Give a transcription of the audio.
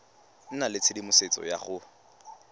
nna le tshedimosetso ya go